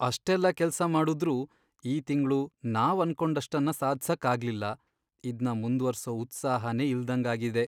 ಅಷ್ಟೆಲ್ಲ ಕೆಲ್ಸ ಮಾಡುದ್ರೂ ಈ ತಿಂಗ್ಳು ನಾವ್ ಅನ್ಕೊಂಡಷ್ಟನ್ನ ಸಾಧ್ಸಕ್ ಆಗ್ಲಿಲ್ಲ, ಇದ್ನ ಮುಂದ್ವರ್ಸೋ ಉತ್ಸಾಹನೇ ಇಲ್ದಂಗಾಗಿದೆ.